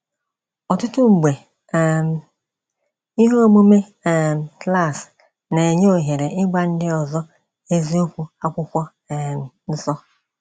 Ọtụtụ mgbe um ihe omume um klas na - enye ohere ịgwa ndị ọzọ eziokwu akwụkwọ um nsọ.